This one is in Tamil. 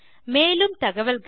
மேலும் தகவல்களுக்கு